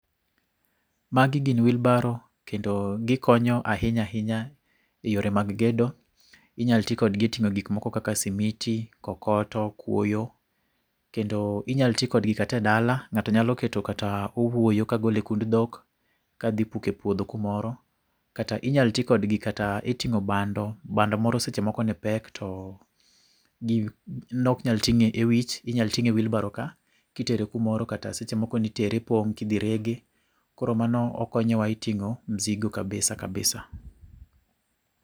Magi gin wheelbarow kendo gikonyo ahinya ahinya yore mag gedo . Inyal tii kodgi e ting'o gik moko kaka simiti, kokoto, kwoyo kendo inyal tii kodgi kata e dala ng'ato nyalo keto kata owuoyo kogol e kund dhok kodhi puke puodho kumoro kata inyal tii kodgi kata e ting'o bando , bando moro seche moko ne pek to nok nyal ting'e e wich inyal tinge e wheelbarow kaa kitere kumoro kata smaoro nitere e pong' kidhi rege. Koro mano konyowa e ting'o mzigo kabisa kabisa.